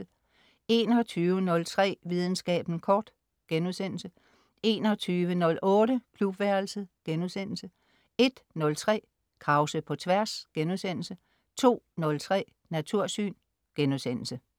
21.03 Videnskaben kort* 21.08 Klubværelset* 01.03 Krause på Tværs* 02.03 Natursyn*